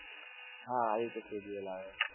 હાં આવી રીતે schedule આવે.